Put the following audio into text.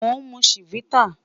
Mo n mu Chivita